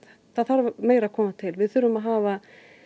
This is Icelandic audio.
það þarf meira að koma til við þurfum að hafa